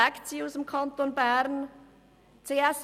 Zieht die Swisscom aus dem Kanton Bern weg?